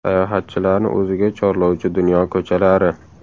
Sayohatchilarni o‘ziga chorlovchi dunyo ko‘chalari .